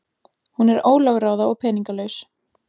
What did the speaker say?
Hún er ólögráða og peningalaus.